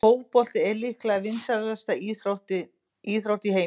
Fótbolti er líklega vinsælasta íþrótt í heimi.